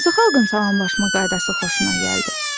Hansı xalqın salamlaşma qaydası xoşuna gəldi?